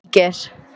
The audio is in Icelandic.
Níger